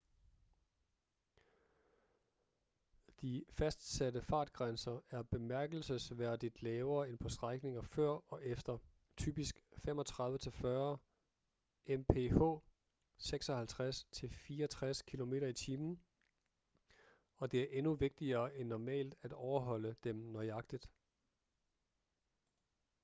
de fastsatte fartgrænser er bemærkelsesværdigt lavere end på strækninger før og efter — typisk 35-40 mph 56-64 km/t. — og det er endnu vigtigere end normalt at overholde dem nøjagtigt